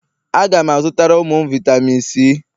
Aga m azụtara ụmụ m vitami C